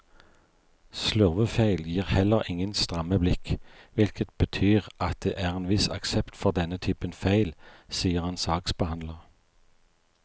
Slurvefeil gir heller ingen stramme blikk, hvilket betyr at det er en viss aksept for denne typen feil, sier en saksbehandler.